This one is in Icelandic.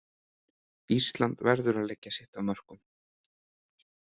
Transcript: Ísland verður að leggja sitt af mörkum